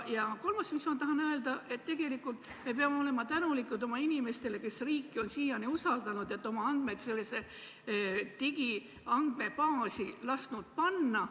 Ja kolmas, mida ma tahan öelda, on see, et tegelikult me peame olema tänulikud oma inimestele, kes on riiki siiani usaldanud, et on lasknud oma andmed sellesse digiandmebaasi panna.